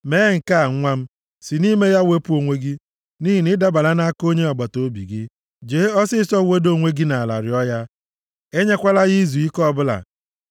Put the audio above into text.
Mee nke a, nwa m, si nʼime ya wepụ onwe gị; nʼihi na ịdabala nʼaka onye agbataobi gị: Jee ọsịịsọ weda onwe gị nʼala rịọọ ya enyekwala ya izuike ọbụla.